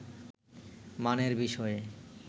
মানের বিষয়ে